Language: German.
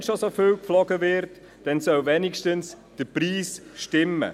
Wenn schon so viel geflogen wird, dann soll wenigstens der Preis stimmen.